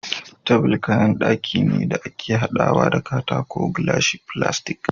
Table kayan daki ne da ake hadawa da katako ,glashi, filastic